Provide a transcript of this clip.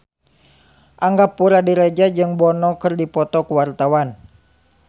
Angga Puradiredja jeung Bono keur dipoto ku wartawan